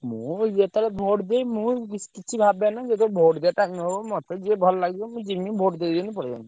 ମୁଁ ଯେତବେଳେ vote ଦିଏ ମୁଁ କିଛି ଭାବେନି ଯେତବେଳେ vote ମତେ ଯିଏ ଭଲ ଲାଗିଲା ମୁଁ ଜିମି vote ଦେଇଦେଲି ପଳେଇ ଆସିଲି।